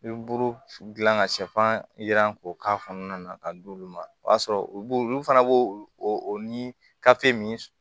I bɛ buru gilan ka sifan jiran k'o k'a kɔnɔna na k'a d'olu ma o y'a sɔrɔ u b'o olu fana b'o o ni kafe min